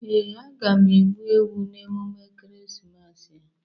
Ee, aga m egbu ewu n'emume Ekeresimesi a.